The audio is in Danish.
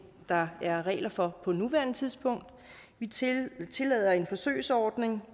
der er regler for på nuværende tidspunkt vi tillader en forsøgsordning